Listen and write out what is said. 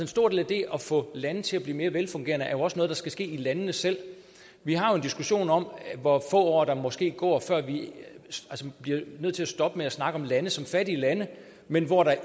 stor del af det at få lande til at blive mere velfungerende er jo også noget der skal ske i landene selv vi har jo en diskussion om hvor få år der måske går før vi bliver nødt til at stoppe med at snakke om lande som fattige lande men hvor der